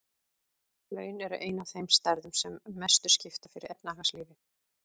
Laun eru ein af þeim stærðum sem mestu skipta fyrir efnahagslífið.